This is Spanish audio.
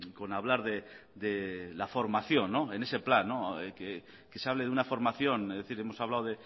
con hablar de la formación en ese plan que se hable de una formación es decir hemos hablado